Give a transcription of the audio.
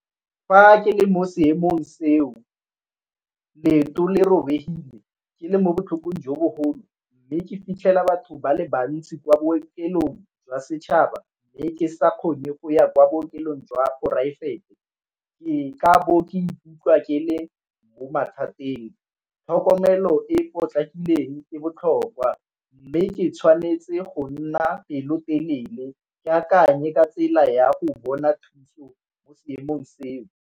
Fa ke le mo seemong seo leoto le robegile, ke le mo botlhokong jo bo golo, mme ke fitlhela batho ba le bantsi kwa bookelong jwa setšhaba mme ke sa kgone go ya kwa bookelong jwa poraefete ke ka bo ke ikutlwa ke le mo mathateng. Tlhokomelo e e potlakileng e botlhokwa, mme ke tshwanetse go nna pelotelele ke akanye ka tsela ya go bona thuso mo seemong seo.